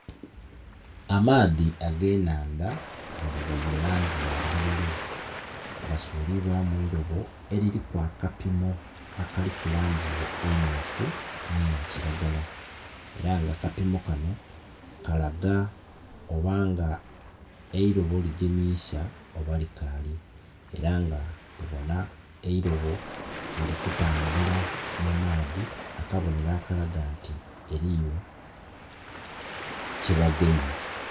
Amaadhi age nnhandha nga gali mu langi ya bululu gasulibwamu eirobo eririku akapimo akaliku langi emyufu nhe eya kilagala, era nga akapimo kano kalaga obaga eirobo ligemisa oba likali. Eranga tubonha eirbo lili kutambula mu maadhi akabonhero akalaga nti eriyo kye bagemye.